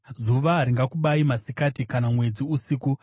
zuva haringakubayi masikati, kana mwedzi usiku.